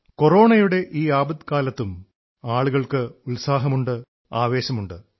കോറോണയുടെ ഈ ആപത്തുകാലത്തും ആളുകൾക്ക് ഉത്സാഹമുണ്ട് ആവേശമുണ്ട്